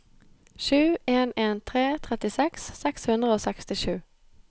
sju en en tre trettiseks seks hundre og sekstisju